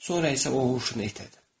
Sonra isə o huşunu itirdi.